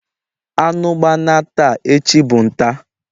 Anu gbana taa, echi bu nta..